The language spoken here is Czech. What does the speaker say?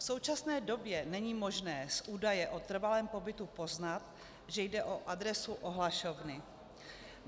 V současné době není možné z údaje o trvalém pobytu poznat, že jde o adresu ohlašovny.